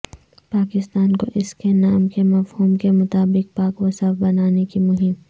پاکستان کو اس کے نام کے مفہوم کے مطابق پاک و صاف بنانے کی مہم